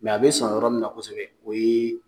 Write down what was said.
Mɛ a be sɔn yɔrɔ min na kosɛbɛ o ye